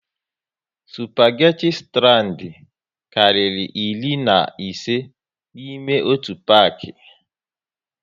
Spageti strand karịrị iri na ise n'ime otu paki